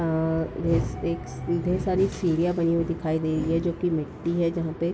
अ अ एक ढेर सारी सीढ़ियां बनी हुई दिखाई दे रही है जो कि मिट्टी है जहां पे --